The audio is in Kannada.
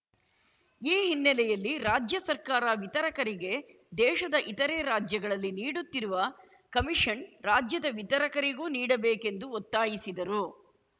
ಈ ಹಿನ್ನೆಲೆಯಲ್ಲಿ ರಾಜ್ಯ ಸರ್ಕಾರ ವಿತರಕರಿಗೆ ದೇಶದ ಇತರೆ ರಾಜ್ಯಗಳಲ್ಲಿ ನೀಡುತ್ತಿರುವ ಕಮಿಷನ್‌ ರಾಜ್ಯದ ವಿತರಕರಿಗೂ ನೀಡಬೇಕೆಂದು ಒತ್ತಾಯಿಸಿದರು